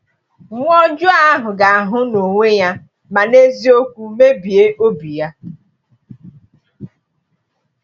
“Nwa ọjọọ ahụ ga-ahụ n’onwe ya ma n’eziokwu mebie obi ya.”